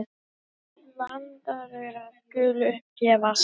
Landaurar skulu upp gefast.